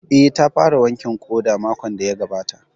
Eh, ta fara wankin ƙoda makon da ya gabata